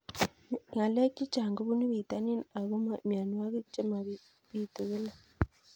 Ng'alek chechang' kopunu pitonin ako mianwogik che mapitu kila